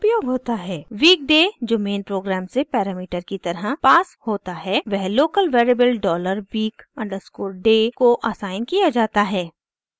week day जो main programme से parameter की तरह पास होता है वह local variable dollar week underscore day को असाइन किया जाता है